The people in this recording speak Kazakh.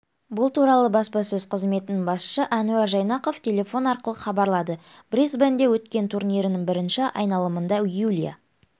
бұл туралы баспасөз қызметінің басшысы әнуар жайнақов телефон арқылы хабарлады брисбенде өткен турнирінің бірінші айналымында юлия